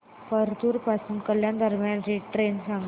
परतूर पासून कल्याण दरम्यान ट्रेन सांगा